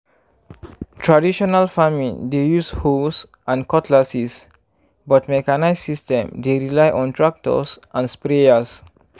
traditional farming dey use hoes and cutlasses but mechanised system dey rely on tractors and sprayers.